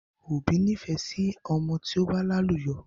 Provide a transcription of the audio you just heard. Òbí nifẹ sí ọmọ tí ó bá làlùyọ